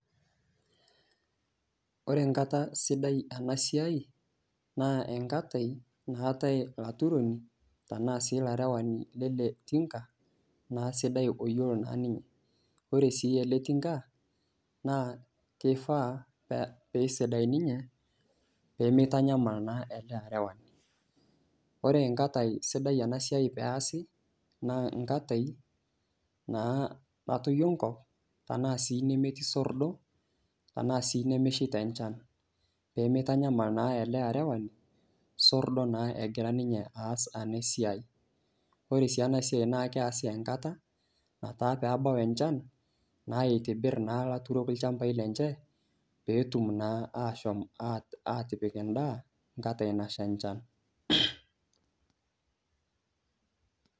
Ore enkata sidai ena siai naa enkata naatai olaturoni anaa sii olarewani sidai sii lele tinka, naa sidai naa oyiolo naa ninye . Ore sii ele tinka naa keishaa pee sidai ninye, peemeitanyamal naa egira aarewaa. Ore enakata naa sidai ena siai pee easi, naa enkata naa natoyio enkop, tanaa sii neetii sordo, ashu sii nemeshaita enchan, pee meitanyamal naa ele arewani osordo, naa egira ninye aas ena siai. Ore sii ena siai naa keasii enkata nataa pebau enchan naa eitibir naa ilaturook olchamba lenye pee etum naa ashom atipik endaa enkata nasha enchan.